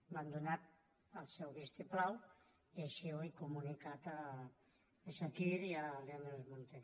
m’han donat el seu vistiplau i així ho he comunicat a chakir i a neus munté